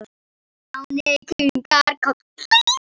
Stjáni kinkaði kolli.